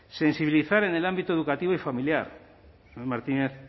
sensibilizar en el ámbito educativo y familiar el señor martínez